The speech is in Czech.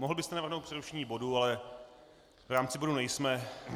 Mohl byste navrhnout přerušení bodu, ale v rámci bodu nejsme.